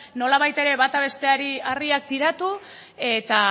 nolabait ere bata besteari harriak tiratu eta